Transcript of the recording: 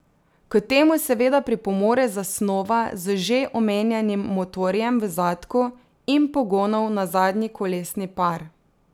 K temu seveda pripomore zasnova z že omenjenim motorjem v zadku in pogonom na zadnji kolesni par.